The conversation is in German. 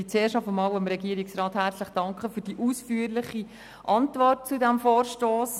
Zuerst danke ich dem Regierungsrat herzlich für die ausführliche Antwort zu diesem Vorstoss.